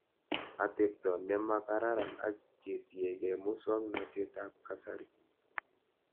Atepto nemakraran ak ketiekei muswognatet ab kasari